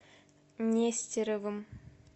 нестеровым